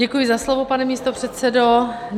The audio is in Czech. Děkuji za slovo, pane místopředsedo.